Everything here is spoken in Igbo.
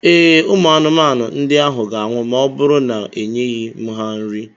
Ee, Ụmụ anụmanụ ndị ahụ ga-anwụ ma ọ bụrụ na-enyeghị m ha nri.